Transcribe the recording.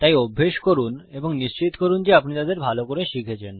তাই অভ্যাস করুন এবং নিশ্চিত করুন যে আপনি তাদের ভালো করে শিখছেন